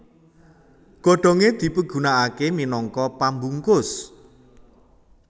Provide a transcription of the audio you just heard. Godhongé dipigunakaké minangka pambungkus